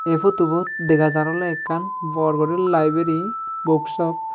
ey photo bot dega jar oley ekan bor guri liberry book sope .